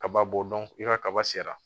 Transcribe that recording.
Kaba b'o dɔn i ka kaba sera